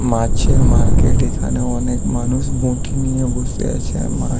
মাছের মার্কেট এখানে অনেক মানুষ বঠি নিয়ে বসে আছে মাছ--